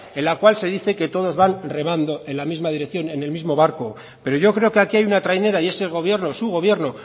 en la cual se dice que todos van remando en la misma dirección en el mismo barco pero yo creo que aquí hay una trainera y ese gobierno su gobierno